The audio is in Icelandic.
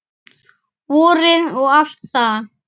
Vorið og allt það.